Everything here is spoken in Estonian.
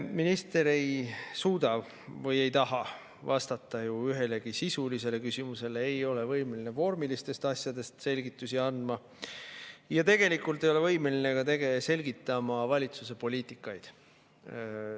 Minister ei suuda või ei taha vastata ühelegi sisulisele küsimusele, ei ole võimeline vormilistest asjadest selgitusi andma ja tegelikult ei ole võimeline selgitama ka valitsuse poliitikaid.